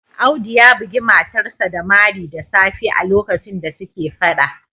Audu ya bugi matarsa ​​da mari da safe a lokacin da suke Fada